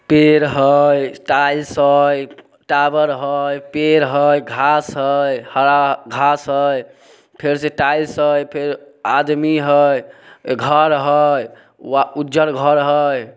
पेड़ हय टाइल्स हय टावर हय पेड़ हेय घांस हेय हरा घांस हेय। फेर से टाइल्स हय फेर आदमी हय घर हय उज्जर घर हय।